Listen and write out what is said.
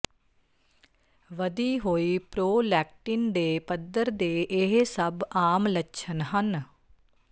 ਵਧੀ ਹੋਈ ਪ੍ਰੋਲੈਕਟਿਨ ਦੇ ਪੱਧਰ ਦੇ ਇਹ ਸਭ ਆਮ ਲੱਛਣ ਹਨ